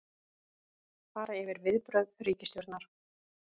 Fara yfir viðbrögð ríkisstjórnar